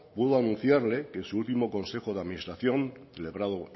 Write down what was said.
puedo anunciarle que en su último consejo de administración celebrado